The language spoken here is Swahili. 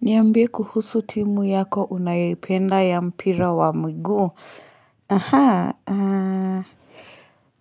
Niambi kuhusu timu yako unayoipenda ya mpira wa mguu. Mhaa